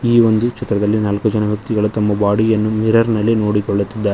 ಈ ಒಂದು ಚಿತ್ರದಲ್ಲಿ ನಾಲ್ಕು ಜನ ವ್ಯಕ್ತಿಗಳು ತಮ್ಮ ಬಾಡಿ ಯನ್ನು ಮಿರರ್ ನಲ್ಲಿ ನೋಡಿಕೊಳ್ಳುತ್ತಿದ್ದಾ--